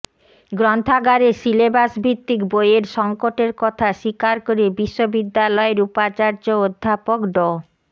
গ্রন্থাগারে সিলেবাস ভিত্তিক বইয়ের সংকটের কথা স্বীকার করে বিশ্ববিদ্যালয়ের উপাচার্য অধ্যাপক ড